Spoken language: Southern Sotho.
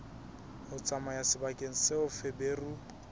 ho tsamaya sebakeng seo feberu